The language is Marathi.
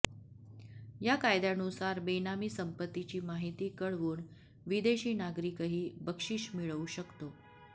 या कायद्यानुसार बेनामी संपत्तीची माहिती कळवून विदेशी नागरिकही बक्षीस मिळवू शकतो